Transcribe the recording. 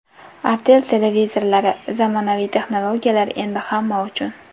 Artel televizorlari: Zamonaviy texnologiyalar endi hamma uchun.